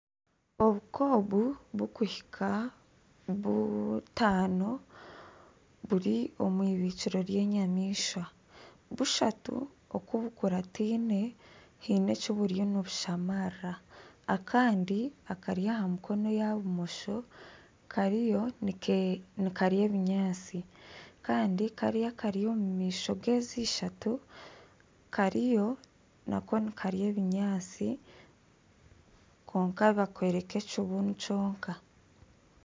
Obu kobu oburikuhika butaano buri omu irindiro ry'enyamaishwa bushatu oku bukurataine haine eki buriyo nibushamarira akandi akari aha mukono ogwa bumosho kariyo nikarya ebinyaatsi kandi kariya akari omu maisho gezi ishatu kariyo nako nikarya ebinyaatsi kwonka bakooreka ekibunu kyonka.